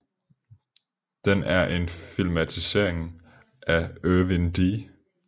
Den er en filmatisering af Irvin D